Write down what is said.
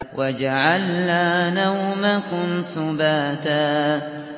وَجَعَلْنَا نَوْمَكُمْ سُبَاتًا